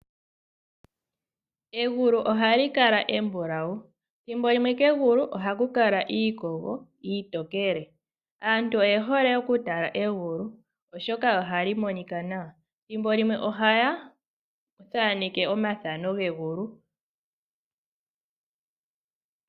Egulu ohali kala embulawu, thimbo limwe kegula oha ku kala iikogo iitokele. Aantu oye hole oku tala egulo oshoka ohali monika nawa. Thimbo limwe ohaya thaaneke omathano gegulu.